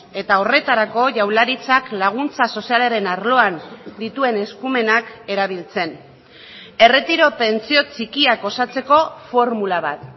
eta horretarako jaurlaritzak laguntza sozialaren arloan dituen eskumenak erabiltzen erretiro pentsio txikiak osatzeko formula bat